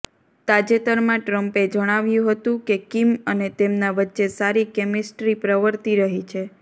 તાજેતરમાં ટ્રમ્પે જણાવ્યું હતું કે કિમ અને તેમના વચ્ચે સારી કેમિસ્ટ્રી પ્રવર્તી રહી છે